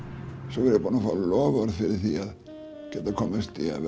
svo var ég búinn að fá loforð fyrir því að geta komist í að